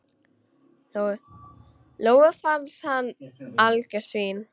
Lóu-Lóu fannst hann algjört svín.